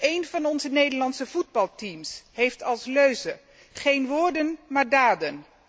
Een van onze Nederlandse voetbalteams heeft als leuze geen woorden maar daden.